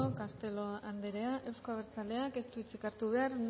eskerrik asko castelo anderea euzko abertzaleak ez du hitzik hartu behar